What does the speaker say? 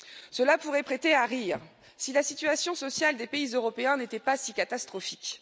Cela pourrait prêter à rire si la situation sociale des pays européens n'était pas si catastrophique.